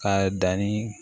K'a danni